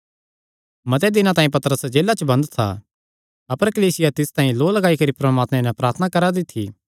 मते दिनां तांई पतरस जेला च बंद था अपर कलीसिया तिस तांई लौ लगाई करी परमात्मे नैं प्रार्थना करा दी थी